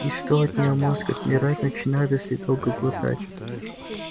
и что от неё мозг отмирать начинает если долго глотать